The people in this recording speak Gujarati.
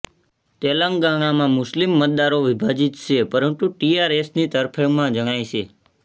તેલંગાણામાં મુસ્લિમ મતદારો વિભાજિત છે પરંતુ ટીઆરએસની તરફેણમાં જણાય છે